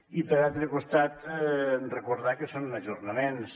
i per altre costat recordar que són ajornaments